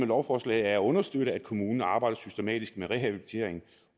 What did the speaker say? lovforslaget er at understøtte at kommunen arbejder systematisk med rehabilitering